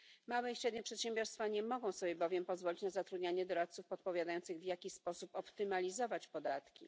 Małe i średnie przedsiębiorstwa nie mogą sobie bowiem pozwolić na zatrudnianie doradców odpowiadających, w jaki sposób optymalizować podatki.